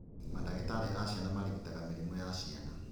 Mandagĩtarĩ a ciana marigitaga mĩrimũ ya ciana